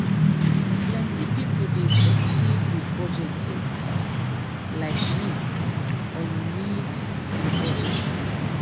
plenty people dey succeed with budgeting apps like mint or you need a budget.